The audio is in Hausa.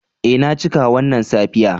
Eh na cika wannan safiya.